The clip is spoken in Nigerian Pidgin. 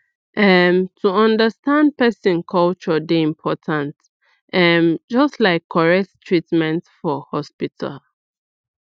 um to understand person culture dey important um just like correct treatment for hospital